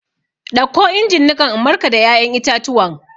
Ɗauko injin niƙan in markada ya'yan itatuwan!